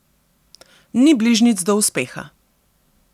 Ni bližnjic do uspeha.